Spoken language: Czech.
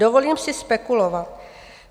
"Dovolím si spekulovat.